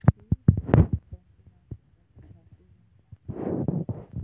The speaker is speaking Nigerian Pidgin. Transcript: dem show us tings to know to know how to keep record for our youth farm group